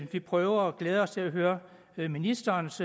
vi prøver og glæder os til at høre ministerens